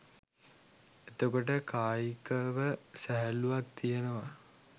එතකොට කායිකව සැහැල්ලුවක් තියෙනවා